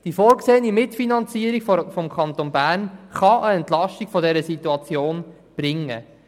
Die vorgesehene Mitfinanzierung des Kantons Bern kann eine Entlastung der Situation bringen.